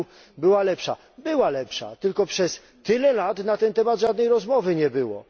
r. była lepsza. Ona była lepsza, tylko przez tyle lat na ten temat żadnej rozmowy nie było.